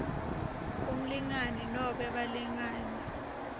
umlingani nobe balingani